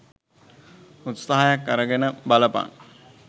උත්සහයක් අරගෙන බලපන්